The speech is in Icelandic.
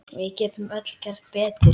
Við getum öll gert betur.